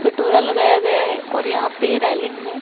कटोरा लगाया गया है और यहां पे रेलिंग है।